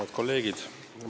Head kolleegid!